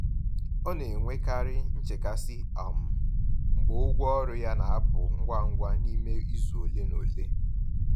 Ọ na-enwekarị nchekasị um mgbe ụgwọ ọrụ ya na-apụ ngwa ngwa n’ime izu ole na ole.